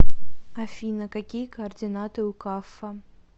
афина какие координаты у каффа